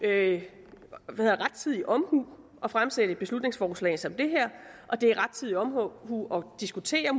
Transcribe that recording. er det rettidig omhu at fremsætte et beslutningsforslag som det her og det er rettidig omhu at diskutere